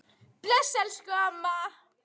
Bless, elsku amma.